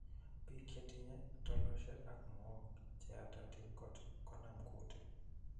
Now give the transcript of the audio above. Biik chetinye tilosiek ak mook cheyatatin kot konam kuutik